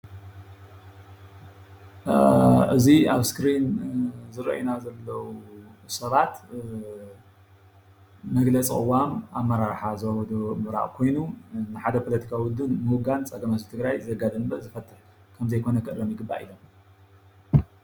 እዚ ኣብ እስክሪን ዝረአዩና ዘለዉ ሰባት መግለፂ ቅዋም ኣመራርሓ ዞባ ደቡብ ምብራቅ ኮይኑ ንሓደ ፖለቲካዊ ውድብ ምውጋን ፀገም ህዝቢ ትግራይ ዘጋድድ እምበር ዘፍትሕ ከምዘይኮነ ክእረም ይግባእ ኢሎም፡፡